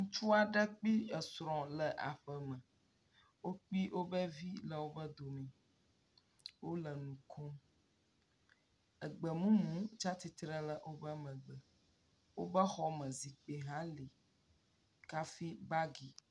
Ŋutsua aɖe kple esrɔ̃ le aeƒe me, wo kple wo vi le woƒe dome, wole nu kom, egbemumu tsi atsitre ɖe woƒe megbe, woƒe xɔme zikpui hã li kafi bagi.